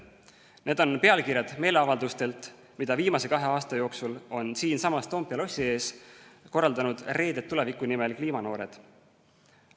Need on pealkirjad meeleavaldustelt, mida viimase kahe aasta jooksul on siinsamas Toompea lossi ees korraldanud Reeded Tuleviku Nimel kliimanoored.